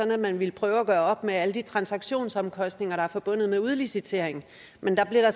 man ville prøve at gøre op med alle de transaktionsomkostninger der er forbundet med udlicitering men der blev der